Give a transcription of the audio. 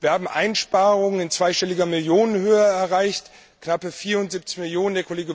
Wir haben Einsparungen in zweistelliger Millionenhöhe erreicht knappe 74 Millionen.